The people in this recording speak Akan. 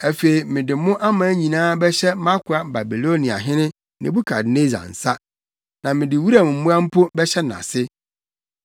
Afei mede mo aman nyinaa bɛhyɛ mʼakoa Babiloniahene Nebukadnessar nsa, na mede wuram mmoa mpo bɛhyɛ nʼase.